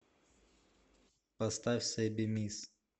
поставь сэби мисс